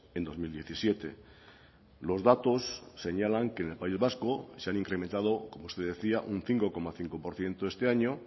en dos mil diecisiete los datos señalan que en el país vasco se han incrementado como usted decía un cinco coma cinco por ciento este año